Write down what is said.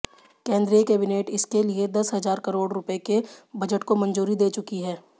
केंद्रीय कैबिनेट इसके लिए दस हजार करोड़ रु के बजट को मंजूरी दे चुकी है